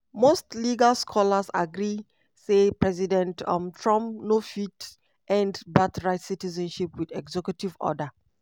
most legal scholars agree say president um trump no fit end birthright citizenship wit executive order.